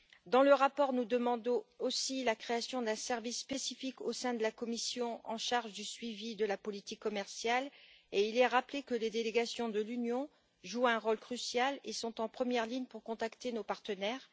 Dans le rapport, nous demandons aussi la création d'un service spécifique au sein de la Commission, en charge du suivi de la politique commerciale, et nous rappelons que les délégations de l'Union jouent un rôle crucial et sont en première ligne pour contacter nos partenaires.